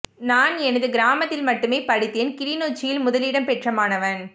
நான் எனது கிராமத்தில் மட்டுமே படித்தேன் கிளிநொச்சியில் முதலிடம் பெற்ற மாணவன்